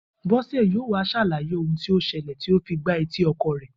Bó̩sè̩ yóò wá s̩àlàyé ohun tí ó s̩e̩lè̩ tí ó fi gba etí o̩ko̩ rè̩